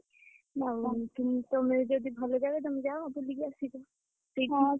ତମେ ଯଦି ଭଲ ଜାଗା ବି ତମେ ଯାଅ ବୁଲିକି ଆସିବ